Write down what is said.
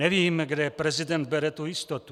Nevím, kde prezident bere tu jistotu.